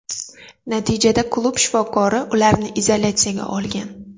Natijada klub shifokori ularni izolyatsiyaga olgan.